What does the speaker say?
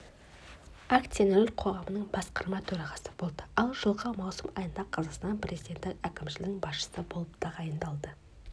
акционерлік қоғамының басқарма төрағасы болды ал жылғы маусым айында қазақстан президенті әкімшілігінің басшысы болып тағайындалды